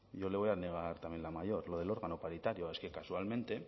yo le voy a negar también la mayor lo del órgano paritario es que casualmente